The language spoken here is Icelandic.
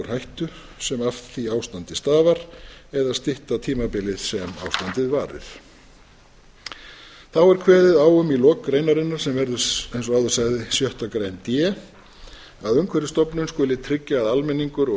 hættu sem af því ástandi stafar eða stytta tímabilið sem ástandið varir þá er kveðið á um í lok greinarinnar sem verður eins og áður sagði sjöttu grein d að umhverfisstofnun skuli tryggja að almenningur og